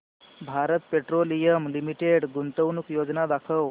Bharat Petroleum Limited गुंतवणूक योजना दाखव